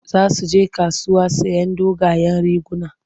Za su je kasuwa sayen dogayen riguna.